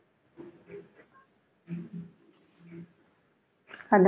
அந்த